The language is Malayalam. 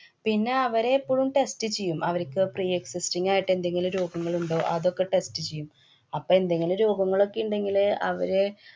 പിന്നെ അവരെ എപ്പോഴും test ചെയ്യും. അവര്ക്ക് pre-existing ആയിട്ടെന്തെങ്കിലും രോഗങ്ങളുണ്ടോ? അതൊക്കെ test ചെയ്യും. അപ്പൊ എന്തെങ്കിലും രോഗങ്ങളൊക്കെ ഇണ്ടെങ്കില് അവരെ